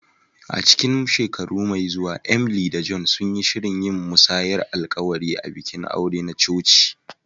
A cikin shekara mai zuwa, Emily da John sun yi shirin yin musayar alƙawari a bikin aure na coci.